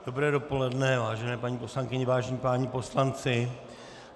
Dobré dopoledne, vážené paní poslankyně, vážení páni poslanci.